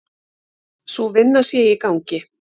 Sú vinna sé í gangi.